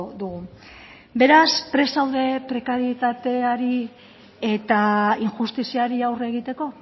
dugu beraz prest zaude prekarietateari eta injustiziari aurre egiteko